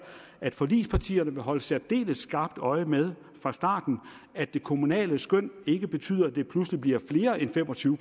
at forligspartierne vil holde særdeles skarpt øje med fra starten at det kommunale skøn ikke betyder at det pludselig bliver flere end fem og tyve